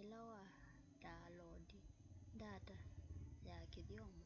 ila wa ndaoloondi ndata ya kithyomo